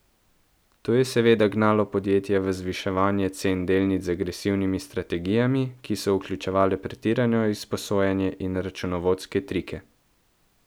To je seveda gnalo podjetja v zviševanje cen delnic z agresivnimi strategijami, ki so vključevale pretirano izposojanje in računovodske trike.